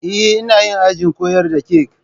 Eh, ina yi ajin koyar da kek